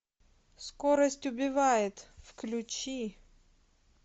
скорость убивает включи